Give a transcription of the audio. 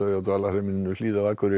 á Dvalarheimilinu Hlíð á Akureyri